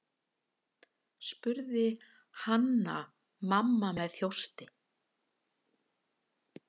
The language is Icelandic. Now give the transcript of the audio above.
spurði Hanna-Mamma með þjósti.